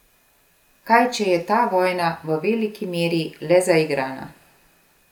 Kaj če je ta vojna v veliki meri le zaigrana?